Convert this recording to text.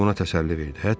Həkim ona təsəlli verdi.